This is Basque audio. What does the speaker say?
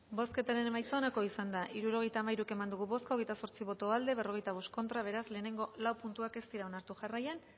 bozketaren emaitza onako izan da hirurogeita hamairu eman dugu bozka hogeita zortzi boto aldekoa cuarenta y cinco contra beraz lehenengo lau puntuak ez dira onartu jarraian